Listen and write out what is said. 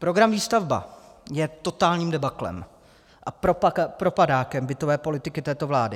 Program Výstavba je totálním debaklem a propadákem bytové politiky této vlády.